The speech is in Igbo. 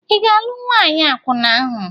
Ị ga-alụ nwaanyị akwụna ahụ?